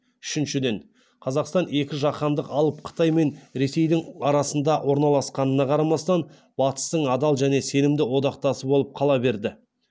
үшіншіден қазақстан екі жаһандық алып қытай мен ресейдің арасында орналасқанына қарамастан батыстың адал және сенімді одақтасы болып қала берді